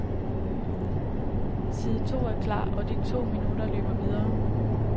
Side to er klar, og de to minutter løber videre.